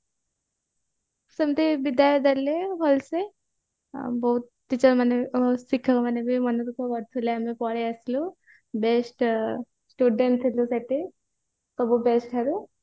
ସେମିତି ବିଦାୟ ଦେଲେ ଭଲସେ ବହୁତ teacher ମାନେ ଶିକ୍ଷକ ମାନେ ବି ମନଦୁଃଖ କରୁଥିଲେ ଆମେ ପଳେଇ ଆସିବୁ best student ଥିଲେ ସେଠି ସବୁ ଠାରୁ